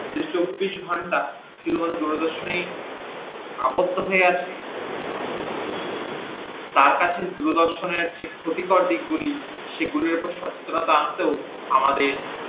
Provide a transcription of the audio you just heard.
যে চব্বিশ ঘন্টা শুধুমাত্র দূরদর্শনেই আবধ্য হয়ে আছে তার কাছে দূরদর্শনের যে ক্ষতিকর দিক গুলি সেগুলির ওপর সচেতনতা আনতেও আমাদের